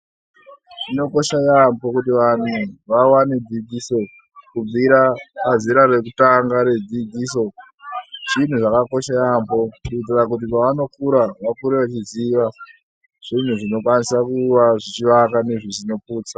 Zvinokosha yambo kuti vanhu vawane dzidziso kubvira pazera rekutanga redzidziso zvinhu zvakakosha yambo kuitira kuti pavonokura vakure veiziva zvinhu zvinokwanisa kuvaka nekuputsa.